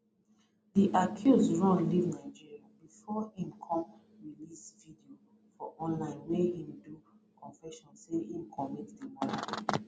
di accused run leave nigeria bifor im come release videos for online wia im do confession say im commit di murder